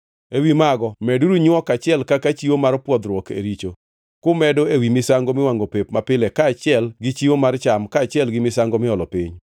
Ewi mago meduru nywok achiel kaka chiwo mar pwodhruok e richo, kumedo ewi misango miwangʼo pep mapile kaachiel gi chiwo mar cham kaachiel gi misango miolo piny.